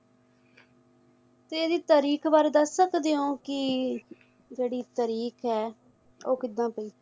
ਤੇ ਇਹਦੀ ਤਰੀਕ ਬਾਰੇ ਦੱਸ ਸਕਦੇ ਓ ਕਿ ਜਿਹੜੀ ਤਰੀਕ ਹੈ ਉਹ ਕਿਦਾਂ ਪਈ?